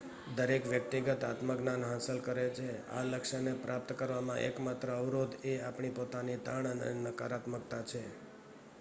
દરેક વ્યક્તિ આત્મજ્ઞાન હાંસલ શકે છે આ લક્ષ્યને પ્રાપ્ત કરવામાં એકમાત્ર અવરોધ એ આપણી પોતાની તાણ અને નકારાત્મકતા છે